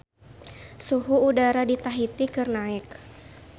Suhu udara di Tahiti keur naek